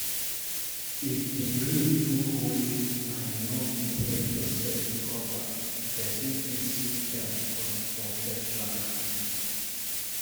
If di grief too hold you and you no fit help yourself recover, person fit seek help from professional